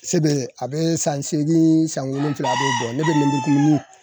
Se be, a be san seegin san wolonwula a b'o bɔ ne be lemuru kumuni .